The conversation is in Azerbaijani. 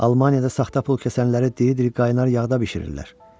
Almaniyada saxta pul kəsənləri diri-diri qaynar yağda bişirirlər.